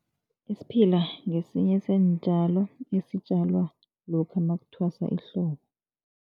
Isiphila ngesinye seentjalo esitjalwa lokha makuthwasa ihlobo.